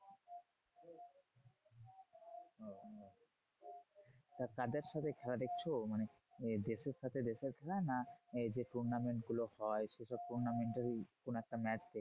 তা কাদের সাথে খেলা দেখছো? মানে দেশের সাথে দেশের খেলা না এই যে tournament গুলো হয় সেসব tournament এর ই কোনো একটা match দেখছো?